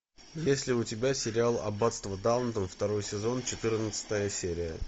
есть ли у тебя сериал аббатство даунтон второй сезон четырнадцатая серия